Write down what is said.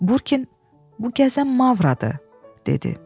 Burkin bu gəzən Mavradır, dedi.